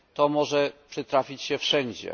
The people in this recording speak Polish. To może przytrafić się wszędzie.